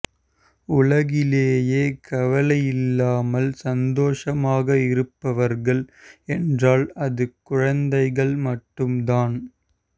உலகிலேயே கவலையில்லாமல் சந்தோசமாக இருப்பவர்கள் என்றால் அது குழந்தைகள் மட்டும் தான்